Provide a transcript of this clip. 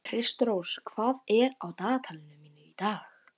Kristrós, hvað er á dagatalinu mínu í dag?